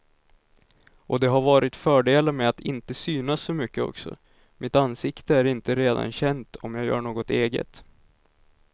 Och det har varit fördelar med att inte synas så mycket också, mitt ansikte är inte redan känt om jag gör något eget.